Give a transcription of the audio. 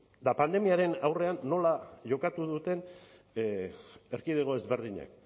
eta pandemiaren aurrean nola jokatu duten erkidego ezberdinek